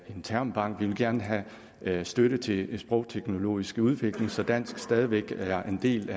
en termbank vi vil gerne have have støtte til sprogteknologisk udvikling så dansk stadig væk er en del